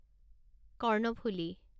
Karnaphuli